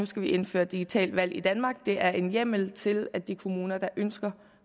skal indføre digitalt valg i danmark det er en hjemmel til at de kommuner der ønsker